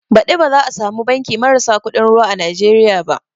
Baɗi ba za a samu banki marasa kuɗin ruwa a Nijeriya ba